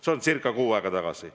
See on circa kuu aega tagasi.